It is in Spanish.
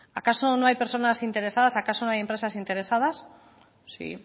acaso no hay personas interesadas acaso no hay empresas interesadas sí